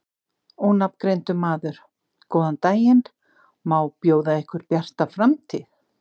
Ónafngreindur maður: Góðan daginn, má bjóða ykkur Bjarta framtíð?